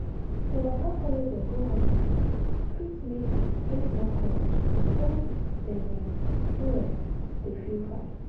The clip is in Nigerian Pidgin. to waka follow dem go hospital fit make dem get more courage when dem um no um dey feel fine.